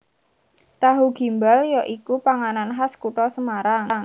Tahu Gimbal ya iku panganan khas kutha Semarang